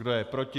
Kdo je proti?